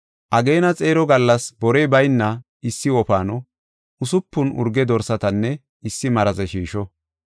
Ageena xeero gallas borey bayna issi wofaano, usupun urge dorsatanne issi maraze shiisho.